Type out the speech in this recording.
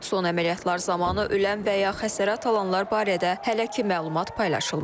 Son əməliyyatlar zamanı ölən və ya xəsarət alanlar barədə hələ ki məlumat paylaşılmayıb.